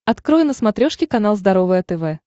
открой на смотрешке канал здоровое тв